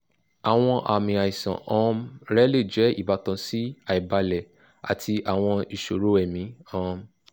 awọn aami aisan um rẹ le jẹ ibatan si aibalẹ ati awọn iṣoro ẹmi um